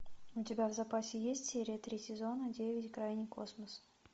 у тебя в запасе есть серия три сезона девять крайний космос